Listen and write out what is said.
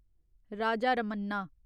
Raja Ramanna